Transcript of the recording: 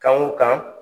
Kan o kan